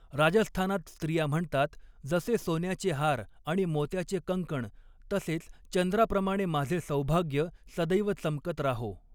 राजस्थानात स्त्रिया म्हणतात 'जसे सोन्याचे हार आणि मोत्याचे कंकण, तसेच चंद्राप्रमाणे माझे सौभाग्य सदैव चमकत राहो.